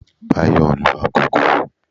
Báyò nlu agogo